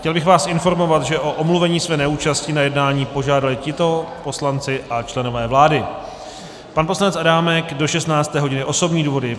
Chtěl bych vás informovat, že o omluvení své neúčasti na jednání požádali tito poslanci a členové vlády: pan poslanec Adámek do 16. hodiny, osobní důvody.